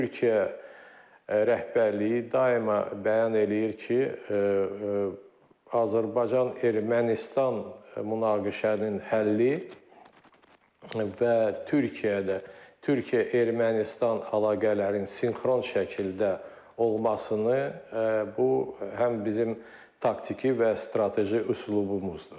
Türkiyə rəhbərliyi daima bəyan eləyir ki, Azərbaycan-Ermənistan münaqişənin həlli və Türkiyədə, Türkiyə-Ermənistan əlaqələrinin sinxron şəkildə olmasını bu həm bizim taktiki və strateji üslubumuzdur.